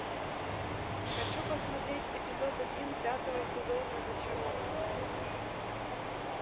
хочу посмотреть эпизод один пятого сезона зачарованные